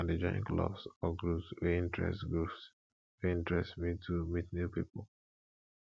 i dey join clubs or groups wey interest groups wey interest me to meet new people